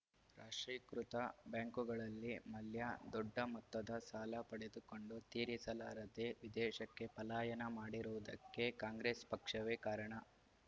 ರಾಷ್ಟ್ರೀಕೃತ ಬ್ಯಾಂಕುಗಳಲ್ಲಿ ಮಲ್ಯ ದೊಡ್ಡ ಮೊತ್ತದ ಸಾಲ ಪಡೆದುಕೊಂಡು ತೀರಿಸಲಾರದೆ ವಿದೇಶಕ್ಕೆ ಪಲಾಯನ ಮಾಡಿರುವುದಕ್ಕೆ ಕಾಂಗ್ರೆಸ್‌ ಪಕ್ಷವೇ ಕಾರಣ